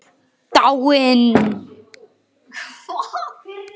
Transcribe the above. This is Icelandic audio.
Dáin?